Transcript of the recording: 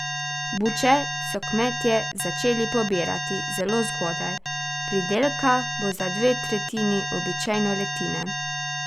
Buče so kmetje začeli pobirati zelo zgodaj, pridelka bo za dve tretjini običajne letine.